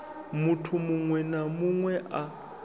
muthu muṅwe na muṅwe a